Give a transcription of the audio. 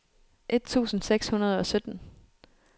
et tusind seks hundrede og sytten